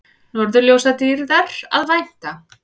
Norðurljósadýrðar að vænta